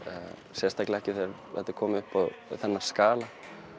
sérstaklega ekki þegar þetta er komið upp á þennan skala